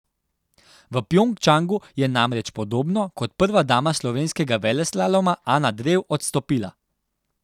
V Pjongčangu je namreč, podobno kot prva dama slovenskega veleslaloma Ana Drev, odstopila.